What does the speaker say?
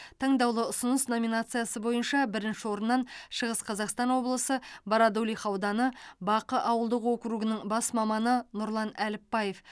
таңдаулы ұсыныс номинациясы бойынша бірінші орынын шығыс қазақстан облысы бородулиха ауданы бақы ауылдық округінің бас маманы нұрлан әліпбаев